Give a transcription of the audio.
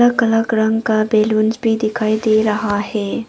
रंग का बलूंस भी दिखाई दे रहा है।